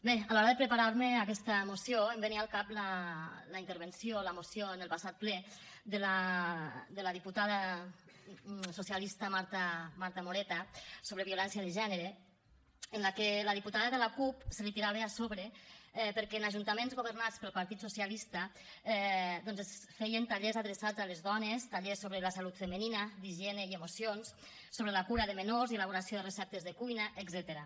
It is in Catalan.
bé a l’hora de preparar me aquesta moció em venia al cap la intervenció la moció en el passat ple de la diputada socialista marta moreta sobre violència de gènere en la que la diputada de la cup se li tirava a sobre perquè en ajuntaments governats pel partit socialista doncs es feien tallers adreçats a les dones tallers sobre la salut femenina d’higiene i emocions sobre la cura de menors i elaboració de receptes de cuina etcètera